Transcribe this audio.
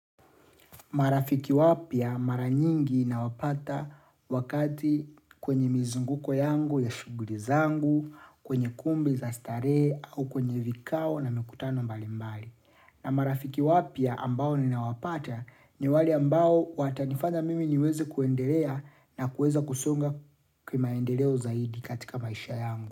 Marafiki wapya mara nyingi na wapata wakati kwenye mizunguko yangu ya shuguli zangu, kwenye kumbi za starehe au kwenye vikao na mikutano mbali mbali. Na marafiki wapya ambao nina wapata ni wale ambao watanifanya mimi niweze kuendelea na kuweza kusonga kimaendeleo zaidi katika maisha yangu.